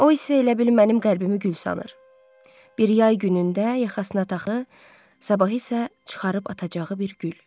O isə elə bil mənim qəlbimi gül sanır, bir yay günündə yaxasına taxıb, sabahı isə çıxarıb atacağı bir gül.